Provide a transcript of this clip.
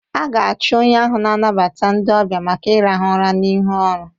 A ga-achụ onye ahụ na-anabata ndị ọbịa maka ịrahụ ụra n'ihu ọrụ.